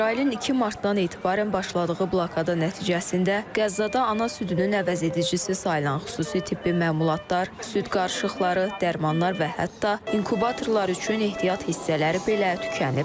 İsrailin 2 martdan etibarən başladığı blokada nəticəsində Qəzzada ana südünün əvəzedicisi sayılan xüsusi tibbi məmulatlar, süd qarışıqları, dərmanlar və hətta inkubatorlar üçün ehtiyat hissələri belə tükənib.